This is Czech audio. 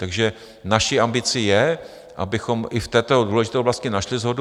Takže naší ambici je, abychom i v této důležité oblasti našli shodu.